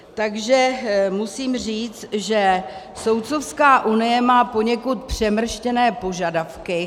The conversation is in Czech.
Takže musím říct, že Soudcovská unie má poněkud přemrštěné požadavky.